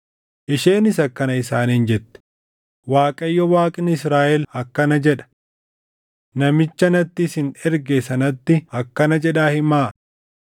Isheenis akkana isaaniin jette; “ Waaqayyo Waaqni Israaʼel akkana jedha: Namicha natti isin erge sanatti akkana jedhaa himaa;